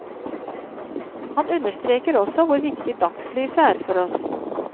Han understreker også hvor viktig dagslyset er for oss.